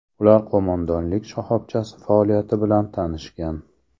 Ular qo‘mondonlik shoxobchasi faoliyati bilan tanishgan.